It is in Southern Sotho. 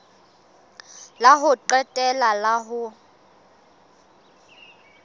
la ho qetela la ho